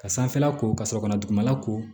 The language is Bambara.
Ka sanfɛla ko ka sɔrɔ ka dugumana ko